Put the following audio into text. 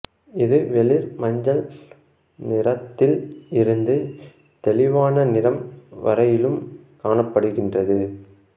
இது வெளிர் மஞ்சள் நிறத்தில் இருந்து தெளிவான நிறம் வரையிலும் காணப்படுகின்றது